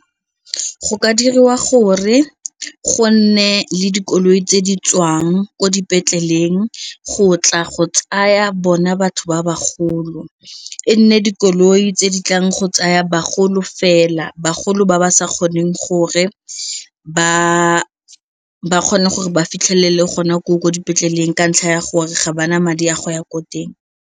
Go ka diriwa gore go nne le dikoloi tse di tswang ko dipetleleng go tla go tsaya bona batho ba bagolo, e nne dikoloi tse di tlang go tsaya bagolo fela bagolo ba ba sa kgoneng gore ba kgone gore ba fitlhelele gona ko dipetleleng ka ntlha ya gore ga ba na madi a go ya ko teng.